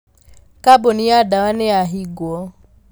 Kambuni ya ndawa nĩyahingwo.